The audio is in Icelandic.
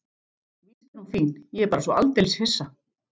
Víst er hún fín, ég er bara svo aldeilis hissa.